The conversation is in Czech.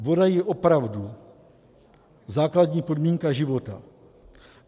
Voda je opravdu základní podmínka života.